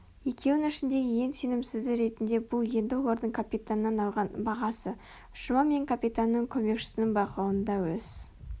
екеуін ішіндегі ең сенімсізі ретінде бұл енді олардың капитаннан алған бағасы жұма мен капитанның көмекшісінің бақылауында өз